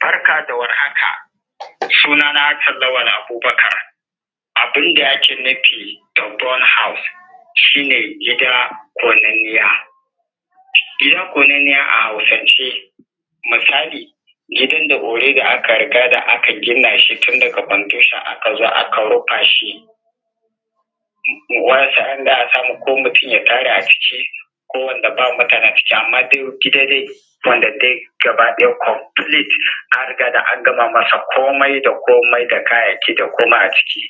Barka da warhaka, suna na Hassan Lawal Abubakar abun da ake nufi da burnt house, shi ne gida ƙonanniya. Gida ƙonanniya a Hausance misali gidan da already aka riga da aka gina shi tun daga foundation aka zo aka rufa shi ko mutum ya tare a ciki ko wanda ba mutane a ciki, amma dai wanda dai gaba ɗaya complete an riga ga an gama masa komai da komai da kayayyaki da komai a ciki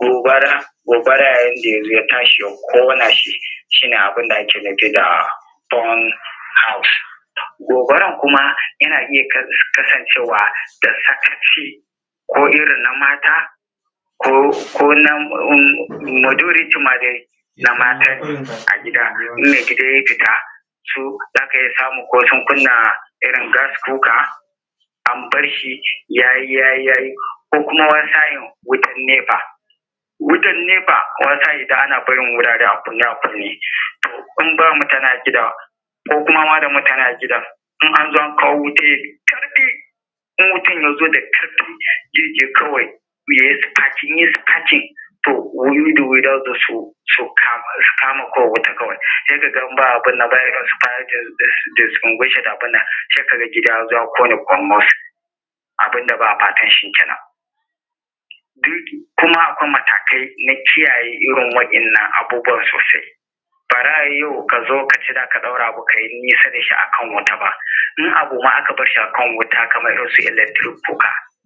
gobara, yayin da ya zo ya tashi ya ƙona shi, shi ne abun da ake nufi da burnt house. Gobarar kuma yana iya kasancewa da sakaci ko irin na mata ko na majority ma na matane a gida tun da idan ya fita za ka iya samun ko sun kunna irin gas cooker an bar shi ya yi, ya yi ko kuma wani sa’in wutan nefa, wutan nefa ana barin wurare a kunne, a kunne in ba mutane a gidan koma da mutane a gidan in an zo, an kawo wutan in wutan ya zo da ƙarfi zai iya ya yi spark in ya yi sparking to wayoyi da wayoyi za su zo su kama sai ka ga in ba abun nan sai gida yaƙo ne ƙurmus, abun da ba a fata shi ne kuma. Akwai matakai na kiyaye irin waɗannan abubuwan sosai yanayi ya zo kace za ka ɗaura abu kai nisa da shi ba kaman misali ka bar shi a kan gas cooker ba.